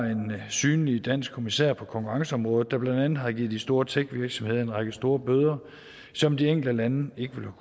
synlig dansk kommissær på konkurrenceområdet der blandt andet har givet de store techvirksomheder en række store bøder som de enkelte lande ikke ville